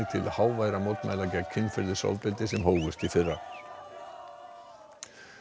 háværra mótmæla gegn kynferðisofbeldi sem hófust í fyrra